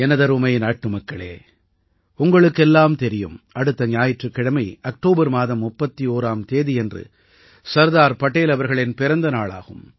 எனதருமை நாட்டுமக்களே உங்களுக்கெல்லாம் தெரியும் அடுத்த ஞாயிற்றுக்கிழமை அக்டோபர் மாதம் 31ஆம் தேதியன்று சர்தார் படேல் அவர்களின் பிறந்த நாளாகும்